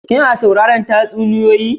Kina sauraran tatsuniyoyi?